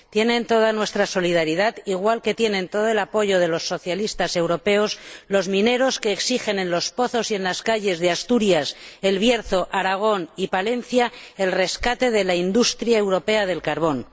Tienen toda nuestra solidaridad, igual que tienen todo el apoyo de los socialistas europeos los mineros que exigen en los pozos y en las calles de Asturias, El Bierzo, Aragón y Palencia el rescate de la industria europea del carbón.